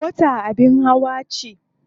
Mota abin hawa ce.